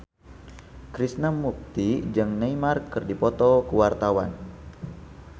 Krishna Mukti jeung Neymar keur dipoto ku wartawan